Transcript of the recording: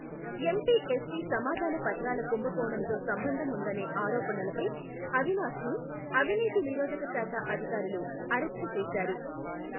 MPSC సమాధాన పత్రాల కుంభకోణంతో సంబంధం ఉందనే ఆరోపణలపై, అవినాష్ ని, అవినీతి నిరోధక శాఖ అధికారులు, అరెస్టు చేశారు.